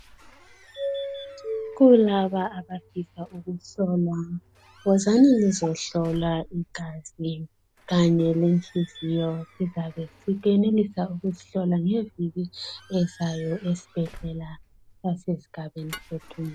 Kulaba abafisa ukuhlolwa wozani lizohlola igazi kanye lenhliziyo lizabe lisenelisa ukuzihlola ngeviki ezayo esibhedlela asesigabeni sethu.